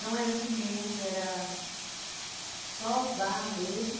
Não era cimento, era só barro mesmo.